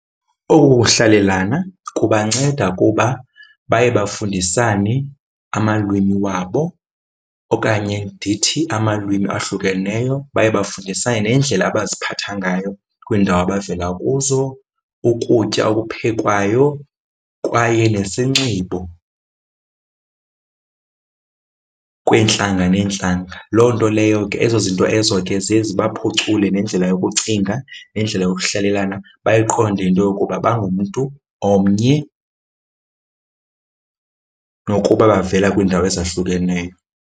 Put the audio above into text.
Oku kuhlalelana kubanceda kuba baye bafundisane amalwimi wabo okanye ndithi amalwimi ahlukeneyo. Baye bafundisane neendlela abaziphatha ngayo kwiindawo abavela kuzo, ukutya okuphekwayo kwaye nesinxibo kweentlanga neentlanga. Loo nto leyo ke, ezo zinto ezo ke ziye zibaphucule nendlela yokucinga, nendlela yokuhlalelana, bayiqonde into yokuba bangumntu omnye nokuba bavela kwiindawo ezahlukeneyo.